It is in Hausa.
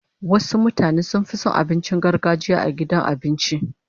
Wasu mutane sun fi son abincin gargajiya a gidan abinci